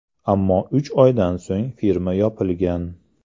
Ammo uch oydan so‘ng firma yopilgan.